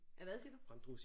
Af hvad siger du